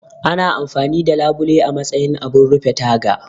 Ana amfani da labule a matsayin abun rufe taga